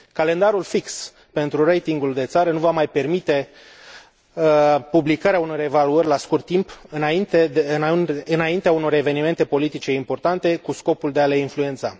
Calendarul fix pentru ratingul de țară nu va mai permite publicarea unor evaluări la scurt timp, înaintea unor evenimente politice importante, cu scopul de a le influența.